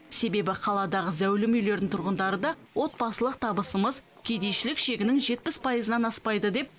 себебі қаладағы зәулім үйлердің тұрғындары да отбасылық табысымыз кедейшілік шегінің жетпіс пайызынан аспайды деп